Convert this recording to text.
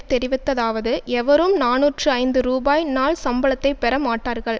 தெரிவித்ததாவது எவரும் நாநூற்று ஐந்து ரூபாய் நாள் சம்பளத்தை பெற மாட்டார்கள்